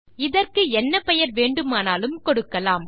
இதற்கு என்ன பெயர் வேண்டுமானாலும் கொடுக்கலாம்